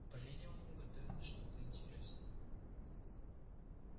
по видимому готовилось что-то интересное